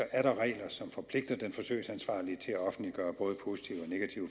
er der regler som forpligter den forsøgsansvarlige til at offentliggøre både positive